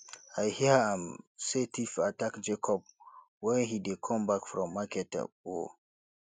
i hear um say thief attack jacob wen he dey come back from market um